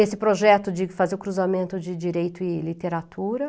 Esse projeto de fazer o cruzamento de direito e literatura.